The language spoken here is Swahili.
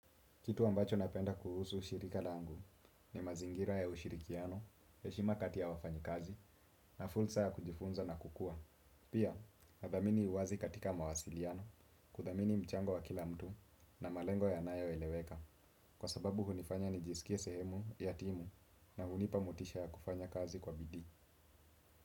Kitu ambacho napenda kuhusu ushirika langu ni mazingira ya ushirikiano, heshima kati ya wafanyikazi na fursay a kujifunza na kukua. Pia, nathamini uwazi katika mawasiliano, kuthamini mchango wa kila mtu na malengo yanayo eleweka kwa sababu hunifanya nijisikie sehemu, ya timu na hunipa motisha ya kufanya kazi kwa bidii.